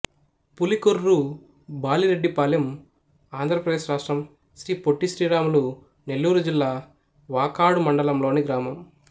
పులికొర్రు బాలిరెడ్డిపాలెం ఆంధ్ర ప్రదేశ్ రాష్ట్రం శ్రీ పొట్టి శ్రీరాములు నెల్లూరు జిల్లా వాకాడు మండలం లోని గ్రామం